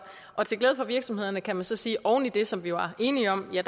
og til glæde for virksomhederne kan man så sige at oven i det som vi jo var enige om